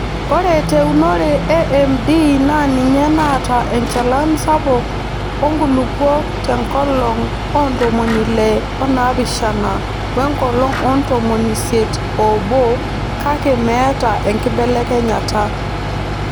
Ore teunore e MD naa ninye naata enchalan sapuk oo nkulupuok te nkolong oo ntomoni Ile oonaapishana wenkolong oo ntomonisiet oobo kake meeta enkibelekenyata.